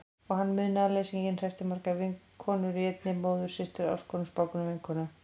Og hann, munaðarleysinginn, hreppti margar konur í einni: móður systur ástkonu spákonu vinkonu.